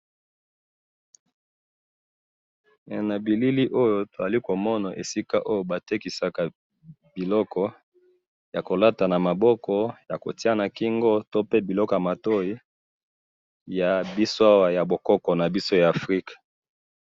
Eh! Nabilili oyo tozali komona esika oyo batekisaka biloko yakolata namaboko, yakotiya nakingo, to pe biloko yamatoyi, yabiso awa yaboko nabiso ya africa